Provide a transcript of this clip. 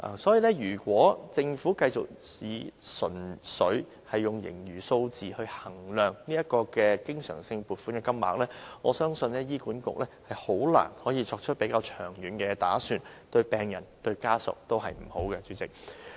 所以，如果政府繼續純粹以盈餘的數字來衡量經常性撥款的金額，我相信醫管局很難作出較長遠的打算，代理主席，這樣對病人或家屬也是不好的。